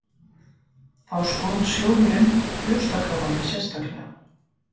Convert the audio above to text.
Þá skoðar sjóðurinn brjóstakrabbamein sérstaklega